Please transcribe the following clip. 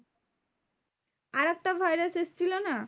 আরেকটা virus এসেছিলো না?